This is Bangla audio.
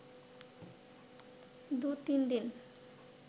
দু’তিন দিন